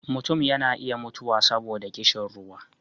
mutum yana iya mutuwa saboda ƙishin ruwa